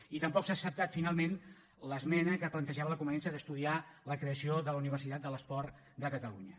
i tampoc s’ha acceptat finalment l’esmena que plantejava la conveniència d’estudiar la creació de la universitat de l’esport de catalunya